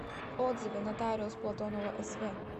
отзывы нотариус платонова св